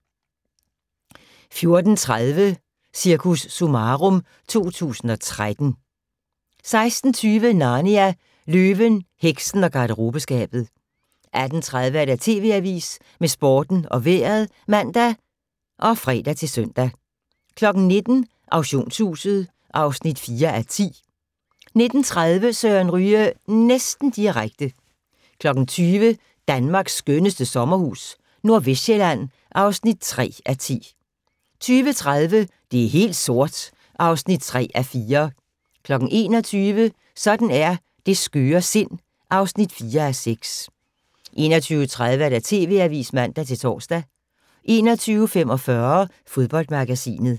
14:30: Cirkus Summarum 2013 16:20: Narnia: Løven, heksen og garderobeskabet 18:30: TV Avisen med Sporten og Vejret (man og fre-søn) 19:00: Auktionshuset (4:10) 19:30: Søren Ryge næsten direkte 20:00: Danmarks skønneste sommerhus - Nordvestsjælland (3:10) 20:30: Det er helt sort (3:4) 21:00: Sådan er det skøre sind (4:6) 21:30: TV Avisen (man-tor) 21:45: Fodboldmagasinet